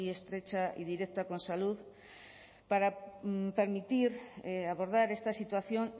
estrecha y directa con salud para permitir abordar esta situación